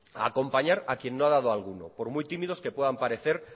a acompañar a quien no ha dado ninguno por muy tímidos que pueden parecer